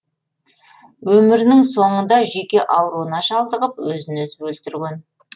өмірінің соңында жүйке ауруына шалдығып өзін өзі өлтірген